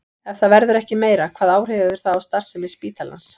Ef það verður ekki meira, hvaða áhrif hefur það á starfsemi spítalans?